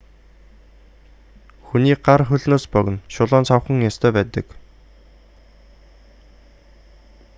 хүний гар хөлнөөс богино шулуун савхан ястай байдаг